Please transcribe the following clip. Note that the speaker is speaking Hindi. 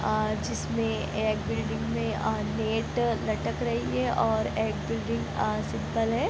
अ जिसमें एक बिल्डिंग में अ नेट लटक रही है और एक बिल्डिंग अ सिंपल है।